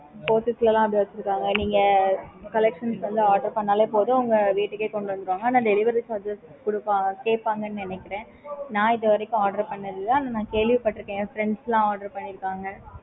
நீங்க collections வந்து order பண்ணலே போதும் உங்க வீட்டுக்கு கொண்டு வந்துடுவாங்க ஆனா delivery charges இருக்கும்